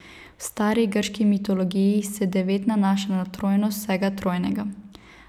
V stari grški mitologiji se devet nanaša na trojnost vsega trojnega.